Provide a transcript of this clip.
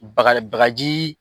Bakare bakaji